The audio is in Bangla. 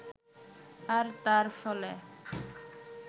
আর তার ফলে